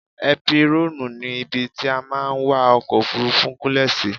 Épírọ́ọ̀nù ni ibi tí a máa ń wa ọkọ̀-òfurufú gúnlẹ̀ sí.